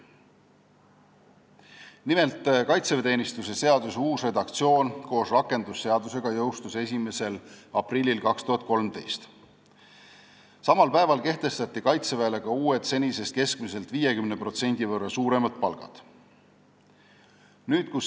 Nimelt, kaitseväeteenistuse seaduse uus redaktsioon koos rakendusseadusega jõustus 1. aprillil 2013 ja samal päeval kehtestati Kaitseväele ka uued, senisest keskmisest 50% suuremad palgad.